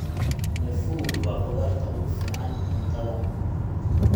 Nyafuu waa khudaarta ugu fiican cuntada.